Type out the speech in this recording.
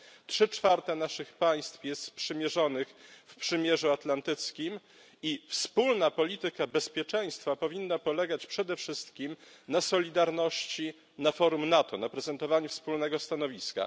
Trzy czwarte naszych państw jest sprzymierzonych w przymierzu atlantyckim i wspólna polityka bezpieczeństwa powinna polegać przede wszystkim na solidarności na forum NATO, na prezentowaniu wspólnego stanowiska.